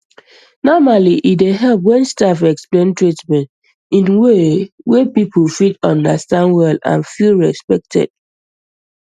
normally e dey help when staff explain treatment in way wey people fit understand well and feel respected